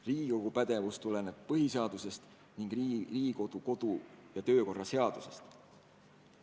Riigikogu pädevus tuleneb põhiseadusest ning Riigikogu kodu- ja töökorra seadusest.